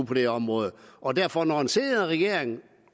på det område og derfor når en senere regering